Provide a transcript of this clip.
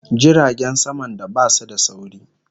Jiragen saman da basu da sauri